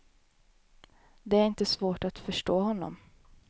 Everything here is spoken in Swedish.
Det är inte svårt att förstå honom.